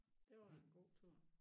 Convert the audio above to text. Det var en god tur